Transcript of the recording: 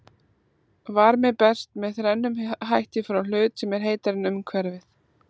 Varmi berst með þrennum hætti frá hlut sem er heitari en umhverfið.